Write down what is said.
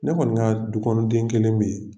Ne kɔni ka dukɔnɔden kelen bɛ yen.